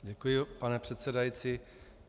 Děkuji, pane předsedající.